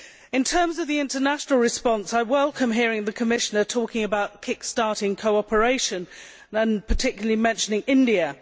In terms of the international response, I welcome hearing the Commissioner talking about kick starting cooperation and particularly mentioning India.